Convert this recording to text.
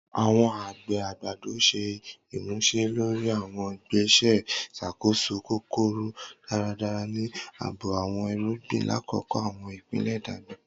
Awọn agbe agbado ṣe imuse lori awọn igbese iṣakoso kokoro daradara ni aabo awọn irugbin lakoko awọn ipele dagba.